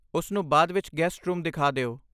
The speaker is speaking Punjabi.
ਉਸਨੂੰ ਬਾਅਦ ਵਿੱਚ ਗੈਸਟ ਰੂਮ ਦਿਖਾ ਦਿਓ।